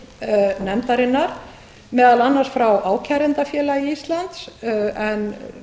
tl nefndarinnar meðal annars fá ákærendafélagi íslands en